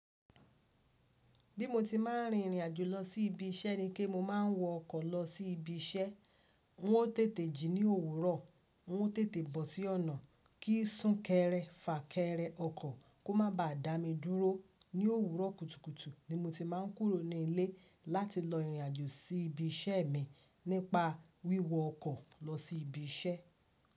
Bí mo ti máà ń rin ìrìn àjò lọ sí ibi iṣẹ́ ni ke mo máa ń wọ ọkọ̀ lọ sí ibi iṣẹ́. N ó tètè jí ní òwúrọ̀, n ó tètè bọ̀ sí ọ̀nà. Kí sún kẹrẹ, fà kẹrẹ ọkọ̀ kó má ba à dá mi dúró. Ní òwúrọ̀ kùtùkùtù ni mo ti máà ń kúrò ní ilé láti lọ ìrìnàjò sí ibi iṣẹ́ mi nípa wíwọ ọkọ̀ lọ sí ibi iṣẹ́.